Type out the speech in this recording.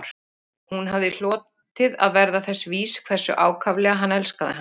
Hún hafði hlotið að verða þess vís hversu ákaflega hann elskaði hana